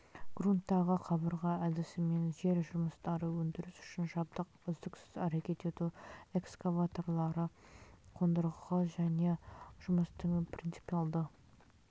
грунттағы қабырға әдісімен жер жұмыстары өндіріс үшін жабдық үздіксіз әрекет ету эксваваторлары қондырғы және жұмыстың принципиалды